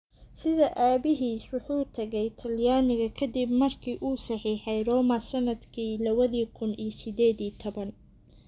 Sida aabihiis, wuxuu u tegey Talyaaniga ka dib markii uu saxiixay Roma sanadkii lawadhi kun iyo sided iyo tawan.